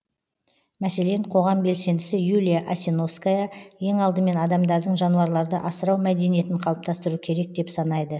мәселен қоғам белсендісі юлия асиновская ең алдымен адамдардың жануарларды асырау мәдениетін қалыптастыру керек деп санайды